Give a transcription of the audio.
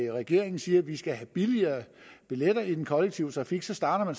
regeringen siger at vi skal have billigere billetter i den kollektive trafik så starter